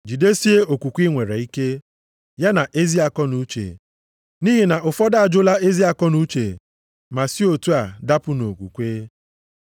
Jidesie okwukwe i nwere ike, ya na ezi akọnuche. Nʼihi na ụfọdụ ajụla ezi akọnuche ma si otu a dapụ nʼokwukwe.